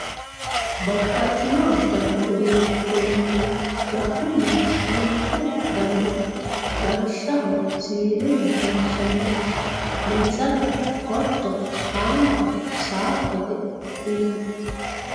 Babaxino dani uduunicho lanumoro haamatu daniho lawishshaho siwiiluni lonsaniho meesane qotto haanto saafete yinani